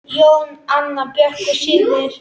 Jón, Anna Björk og synir.